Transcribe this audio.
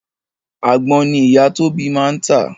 Àgbon ni ìyá Tóbi máa ń tà